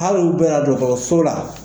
Hali u dɔ yan dɔtɔrɔso la.